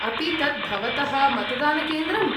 अपि तत् भवतः मतदानकेन्द्रम् ?